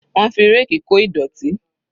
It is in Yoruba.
Wọ́n fi ráàkì kó ìdọ̀tí.